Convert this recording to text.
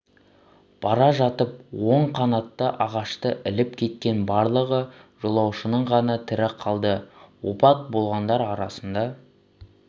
бара жатып оң қанаты ағашты іліп кеткен барлығы жолаушының ғана тірі қалды опат болғандар арасында